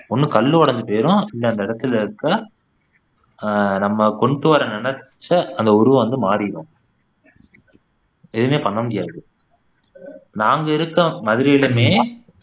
ஒண்ணு கல்லு உடைஞ்சு போயிடும் இல்ல அந்த இடத்துல இருக்க ஆஹ் நம்ம கொண்டுவர நினைச்ச அந்த உருவம் வந்து மாறிடும் எதுவுமே பண்ண முடியாது நாங்க இருக்க மதுரையிலுமே